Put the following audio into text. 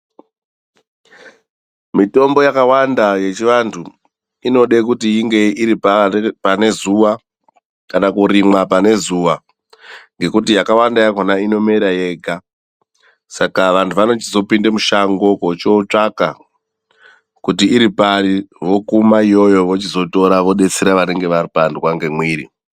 Mitombo yakawanda yechivantu inode kuti inge iri panezuwa kana kurimwa panezuwa, ngekuti yakawanda yakhona inomera yega. Saka vantu vanochizopinda mushango vochiotsvaka kuti iripari, vokuma iyoyo vochizotora vodetsera vanonga vapandwa ngemwiri.